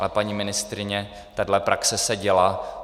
A paní ministryně, takhle praxe se děla.